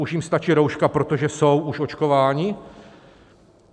Už jim stačí rouška, protože jsou už očkováni?